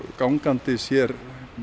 gangandi sér